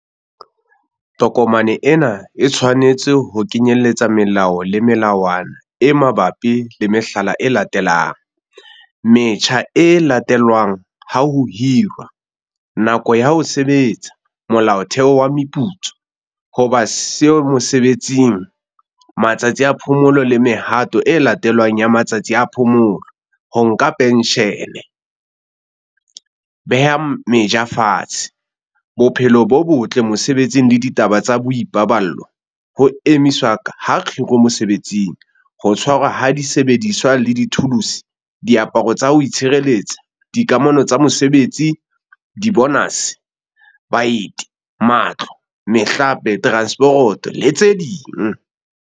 Tokomane ena e tshwanetse ho kenyelletsa melao le melawana e mabapi le mehlala e latelang- metjha e latelwang ha ho hirwa, nako ya ho sebetsa, molaotheo wa meputso, ho ba siyo mosebetsing, matsatsi a phomolo le mehato e latelwang ya matsatsi a phomolo, ho nka phenshene, beha meja fatshe. Bophelo bo Botle Mosebetsing le ditaba tsa Boipaballo, ho emiswa ha kgiro mosebetsing, ho tshwarwa ha disebediswa le dithuluse, diaparo tsa ho itshireletsa, dikamano tsa mosebetsi, dibonase, baeti, matlo, mehlape, teranseporoto, le tse ding.